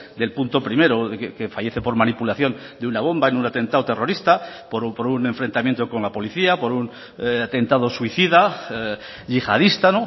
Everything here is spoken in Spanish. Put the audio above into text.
del punto primero que fallece por manipulación de una bomba en un atentado terrorista por un enfrentamiento con la policía por un atentado suicida yihadista